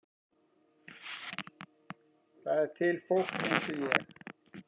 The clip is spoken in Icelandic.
Það er til fólk eins og ég.